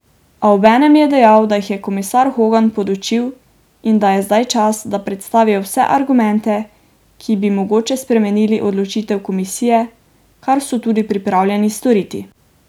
A obenem je dejal, da jih je komisar Hogan podučil, da je zdaj čas, da predstavijo vse argumente, ki bi mogoče spremenili odločitev komisije, kar so tudi pripravljeni storiti.